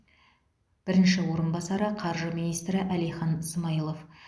бірінші орынбасары қаржы министрі әлихан смайылов